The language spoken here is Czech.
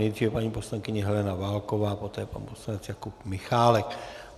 Nejdříve paní poslankyně Helena Válková, poté pan poslanec Jakub Michálek.